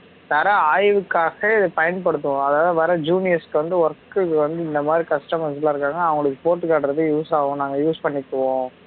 தர ஆய்வுக்காக பயன்படுத்துவோம் அதாவது வர juniors க்கு வந்து work க்கு வந்து இந்த மாதிரி customers லா இருக்காங்க அவுங்களுக்கு போட்டு காட்டுறதுக்கு use ஆகும் நாங்க use பண்ணிக்குவோம்